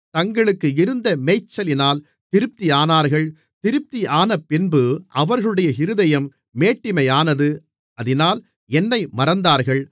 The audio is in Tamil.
தங்களுக்கு இருந்த மேய்ச்சலினால் திருப்தியானார்கள் திருப்தியானபின்பு அவர்களுடைய இருதயம் மேட்டிமையானது அதினால் என்னை மறந்தார்கள்